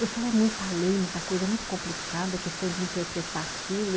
Eu falei, é muita lei, muita coisa, é muito complicado a questão de interpretar aquilo.